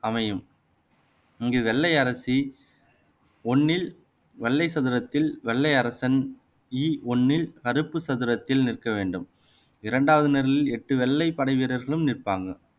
அமையும் இங்கு வெள்ளை அரசி ஒண்ணில் வெள்ளை சதுரத்தில் வெள்ளை அரசன் இ ஒண்ணில் கருப்பு சதுரத்தில் நிற்க வேண்டும் இரண்டாவது நிரலில் எட்டு வெள்ளை படை வீரர்களும் நிற்பாங்க